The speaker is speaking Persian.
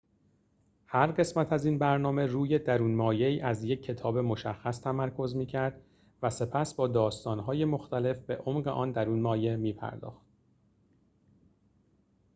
هر قسمت از این برنامه روی درون‌مایه‌ای از یک کتاب مشخص تمرکز می‌کرد و سپس با داستان‌های مختلف به عمق آن درون‌مایه می‌پرداخت